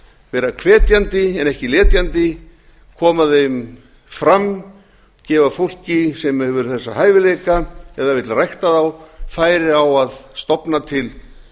vera hvetjandi en ekki letjandi koma þeim fram gefa fólki sem hefur þessa hæfileika eða vill rækta þá færi á að stofna til